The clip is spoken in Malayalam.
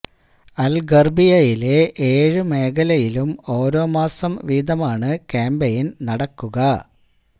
അല് ഗര്ബിയയിലെ ഏഴു മേഖലയിലും ഓരോ മാസം വീതമാണു ക്യാമ്പയിന് നടക്കുക